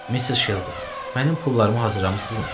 Missis Şelbi, mənim pullarımı hazırlamısınızmı?